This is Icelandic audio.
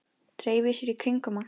Dreifi sér í kringum hann.